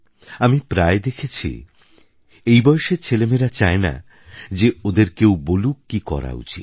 আমি প্রায় দেখেছি এই বয়সের ছেলেমেয়েরা চায় না যে ওদের কেউ বলুক কি করা উচিত